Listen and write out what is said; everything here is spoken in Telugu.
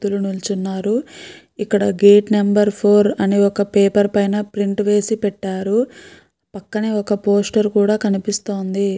ఇద్దరు వ్యక్తులు నిల్చున్నారు. ఇక్కడ గేట్ నెంబర్ ఫోర్ అని ఒక పేపర్ పైన ప్రింట్ వేసి పెట్టారు. పక్కనే ఒక పోస్టర్ కూడా కనిపిస్తోంది.